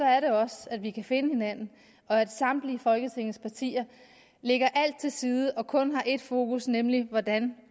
er det også at vi kan finde hinanden og at samtlige folketingets partier lægger alt til side og kun har ét fokus nemlig hvordan